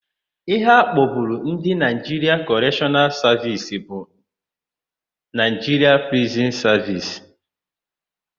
Íhé a kpọburu Ndị Naịjiria Kọreshọnal Savisi bụ Naịjiria Prizin Savisi.